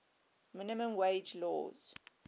minimum wage laws